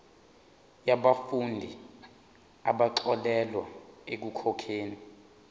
yabafundi abaxolelwa ekukhokheni